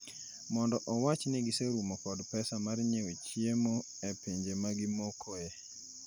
mondo owach ni giserumo kod pesa mar nyiewo chiemo e pinje ma gimokoe.